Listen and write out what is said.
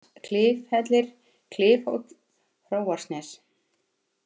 Hlass, Klifhellir, Klifhóll, Hróarsnes